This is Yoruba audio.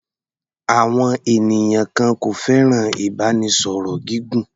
Àwọn ènìyàn kan kò fẹ́ràn ìbánisọ̀rọ̀ gígùn.